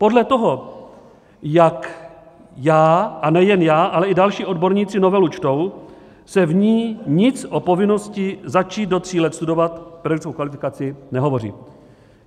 Podle toho, jak já, a nejen já, ale i další odborníci novelu čtou, se v ní nic o povinnosti začít do tří let studovat pedagogickou kvalifikaci nehovoří.